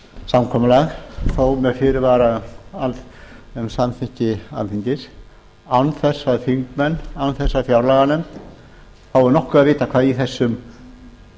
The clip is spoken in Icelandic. samkomulag þó með fyrirvara um samþykki alþingis án þess að þingmenn án þess að fjárlaganefnd fái nokkuð að vita hvað í þessum